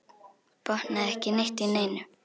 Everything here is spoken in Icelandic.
Botnaði ekki neitt í neinu.